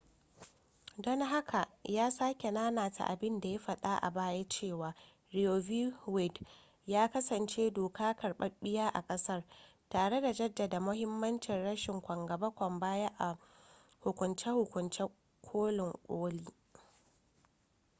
don haka ya sake nanata abinda ya fada a baya cewa roe v wade ya kasance doka karbabbiya ar ƙasa tare da jaddada mahimmancin rashin kwan gaba kwan baya a hukunce-hukunce kolin koli